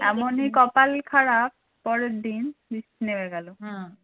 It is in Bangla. এমনই কপাল খারাপ পরের দিন বৃষ্টি নেমে গেলো